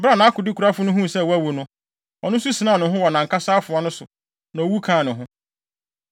Bere a nʼakodekurafo no huu sɛ wawu no, ɔno nso sinaa ne ho wɔ nʼankasa afoa no so, na owu kaa ne ho.